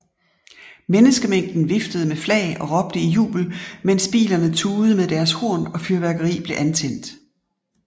Menneskemængden viftede med flag og råbte i jubel mens bilerne tudede med deres horn og fyrværkeri blev antændt